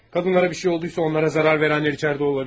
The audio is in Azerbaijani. Qadınlara bir şey oldusa onlara zərər verənlər içəridə ola bilir.